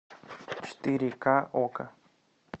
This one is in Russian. четыре ка окко